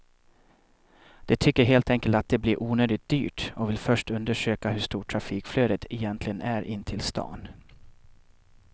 De tycker helt enkelt att det blir onödigt dyrt och vill först undersöka hur stort trafikflödet egentligen är in till stan.